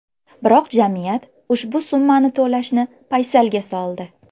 Biroq jamiyat ushbu summani to‘lashni paysalga soldi.